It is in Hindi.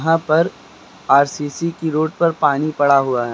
यहां पर आर_सी_सी की रोड पर पानी पड़ा हुआ है।